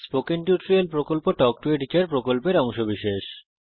spoken tutorial প্রকল্প talk to a teacher প্রকল্পের অংশবিশেষ